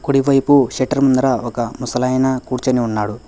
కుడివైపు షట్టర్ ముందర ఒక ముసలాయన కూర్చొని ఉన్నాడు.